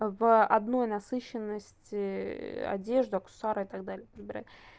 в одной насыщенности одежду аксессуары и так далее выбирать